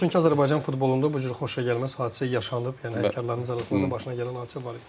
Və təəssüflər olsun ki, Azərbaycan futbolunda bu cür xoşagəlməz hadisə yaşanıb, yəni həmkarlarınız arasında başına gələn hadisə var idi.